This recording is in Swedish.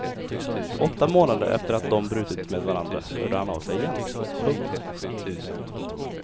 Åtta månader efter att de brutit med varandra hörde han av sig igen. punkt